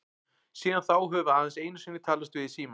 Síðan þá höfum við aðeins einu sinni talast við í síma.